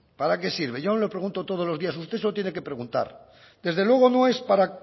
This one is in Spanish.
para qué sirve yo no le pregunto todos los días usted se lo tiene que preguntar desde luego no es para